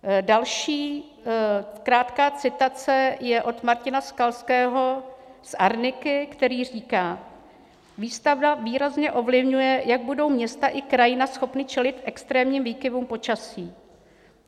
Další krátká citace je od Martina Skalského z Arniky, který říká: "Výstavba výrazně ovlivňuje, jak budou města i krajina schopny čelit extrémním výkyvům počasí.